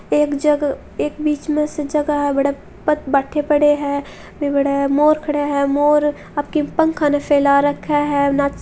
एक जगह एक बीच में से जगह है बठे भाटे पड़े है बठे मोर भी खड़िया है मोर आपके पंखां न फेला रखिया है --